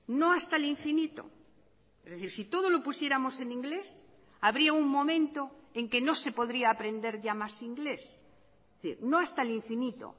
no hasta el infinito es decir si todo lo pusiéramos en inglés habría un momento en que no se podría aprender ya más inglés es decir no hasta el infinito